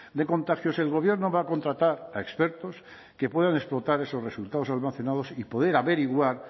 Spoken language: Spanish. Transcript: de contagios el gobierno va a contratar a expertos que puedan explotar esos resultados almacenados y poder averiguar